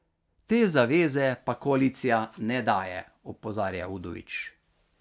Te zaveze pa koalicija ne daje, opozarja Udovič.